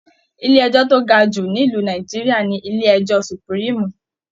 Ilé ẹjọ to ga jù nílu Nàìjíríà ní ilé ẹjọ supuriimu.